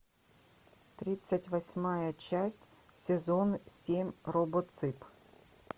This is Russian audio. тридцать восьмая часть сезон семь робоцып